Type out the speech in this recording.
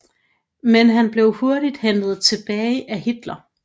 Men han blev hurtigt hentet tilbage af Hitler